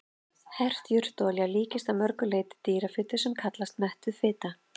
Hert jurtaolía líkist að mörgu leyti dýrafitu sem kallast mettuð fita.